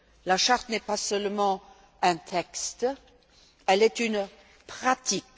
La Charte n'est pas seulement un texte, elle est une pratique.